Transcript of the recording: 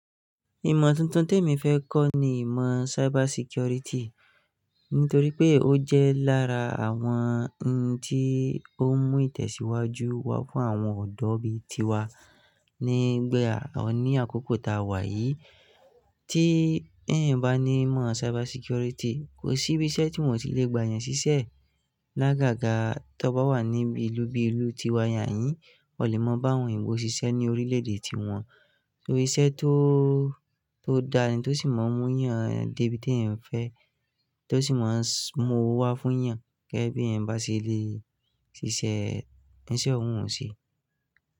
Ìmọ̀ tuntun tèmi fẹ́ kọ́ ni ìmọ̀ cyber security, nítorí pé ó jẹ́ lára àwọn ohun tí ó ń mú ìtẹ̀síwájú wá fún àwọn ọ̀dọ́ bí i tiwa nígbà ní àkókò tá a wà yìí. Tí eeyan bá ní ìmọ̀ cyber security, kò sí ibi iṣẹ́ tí wọn ò tí lè gbà yan ṣíṣẹ́. Lágàgà, tó bá wà ní bi ilu bi ìlú tiwa niyàn yìí, o lè mọ bá àwọn òyìnbó ṣiṣẹ́ ní orílẹ̀-èdè ti wọn. Torí iṣẹ́ tó, tó dáni, tó sì mọ mú yàn de bi teẹ̀yan fẹ́, tó sì mọ mú owó wá fún yàn, gegẹ bí eetan bá ṣe lè ṣiṣẹ́, isẹ òun ò ṣi.